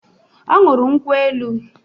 Ọ ñụrụ nkwu elu